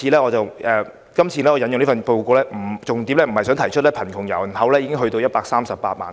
我今次引用該份報告，重點不在於提出貧窮人口已上升至138萬。